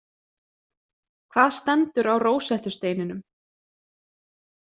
Hvað stendur á Rósettusteininum?